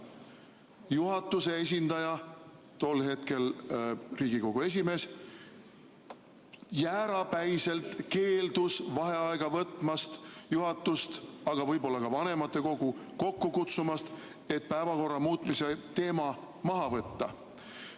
Juhatuse esindaja, tol hetkel Riigikogu esimees, jäärapäiselt keeldus vaheaega võtmast ja juhatust, aga võib-olla ka vanematekogu kokku kutsumast, et päevakorra muutmise teema maha võtta.